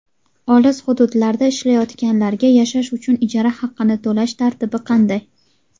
Olis hududlarda ishlayotganlarga yashash uchun ijara haqqini to‘lash tartibi qanday?.